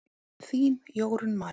Þín, Jórunn María.